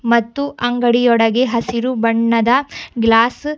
ಮತ್ತು ಅಂಗಡಿಯೊಳಗೆ ಹಸಿರು ಬಣ್ಣದ ಗ್ಲಾಸ್ --